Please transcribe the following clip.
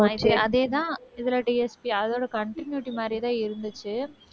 அதேதான் இதில DSP அதோட continuity மாதிரியேதான் இருந்துச்சு